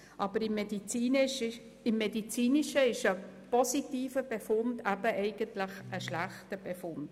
Aber im Medizinischen ist ein positiver Befund eben eigentlich ein schlechter Befund.